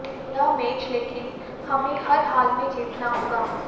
यह मैच लेकिन हमें हर हाल में जीतना होगा